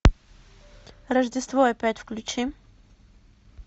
рождество опять включи